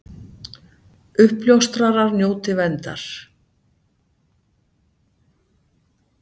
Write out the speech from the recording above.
Uppljóstrarar njóti verndar